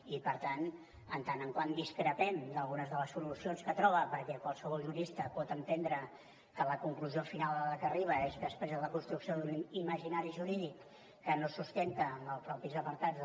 i per tant en tant que discrepem d’algunes de les solucions que troba perquè qualsevol jurista pot entendre que la conclusió final a la qual arriba és després de la construcció d’un imaginari jurídic que no es sustenta en els mateixos apartats